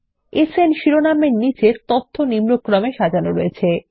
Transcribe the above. সান শিরোনাম এর নীচে তথ্য নিম্নক্রমে সাজানো রয়েছে160